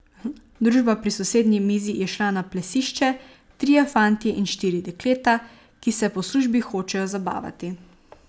Družba pri sosednji mizi je šla na plesišče, trije fantje in štiri dekleta, ki se po službi hočejo zabavati.